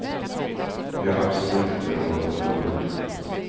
Vi har absolut inte råd att förlora mer.